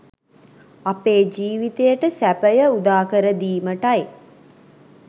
අපේ ජීවිතයට සැපය උදාකර දීමටයි.